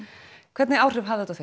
hvernig áhrif hafði þetta